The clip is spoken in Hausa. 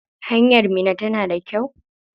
Hanyar Minna tana da kyau?